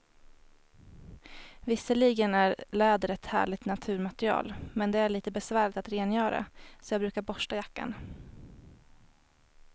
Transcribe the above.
Visserligen är läder ett härligt naturmaterial, men det är lite besvärligt att rengöra, så jag brukar borsta jackan.